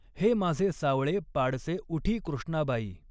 हे माझे सावंळे पाडसे उठिं कृष्णाबाई।